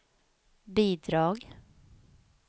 bidrag